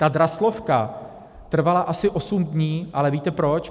Ta Draslovka trvala asi osm dní, ale víte proč?